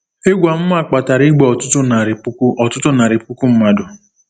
Egwu amụma kpatara igbu ọtụtụ narị puku ọtụtụ narị puku mmadụ.